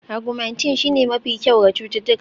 Augmentin shine mafi kyau ga cututtuka